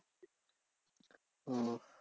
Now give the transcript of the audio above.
ওহ